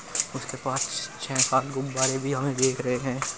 उसके पास छः सात गुब्बारे भी हम देख रहे है।